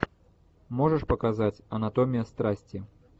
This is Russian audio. можешь показать анатомия страсти